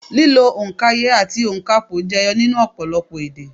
Lílo òǹkaye àti ònkapò jẹyọ nínú ọ̀pọ̀lọpọ̀ èdè